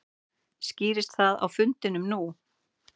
Skýrðist það á fundinum nú?